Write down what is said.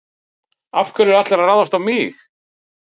Af hverju eru allir að ráðast á mig?